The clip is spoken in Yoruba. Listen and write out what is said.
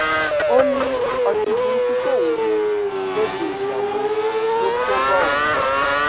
ó ní ọtí burúkú tóun mu lóde ìyàwó ló kó bá òun